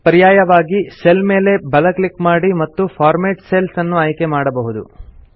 ಪರ್ಯಾಯವಾಗಿ ಸೆಲ್ ಮೇಲೆ ಬಲ ಕ್ಲಿಕ್ ಮಾಡಿ ಮತ್ತು ಫಾರ್ಮ್ಯಾಟ್ ಸೆಲ್ಸ್ ಅನ್ನು ಆಯ್ಕೆ ಮಾಡಬಹುದು